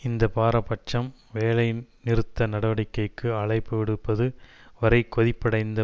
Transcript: இந்த பாரபட்சம் வேலை நிறுத்த நடவடிக்கைக்கு அழைப்பு விடுப்பது வரை கொதிப்படைந்த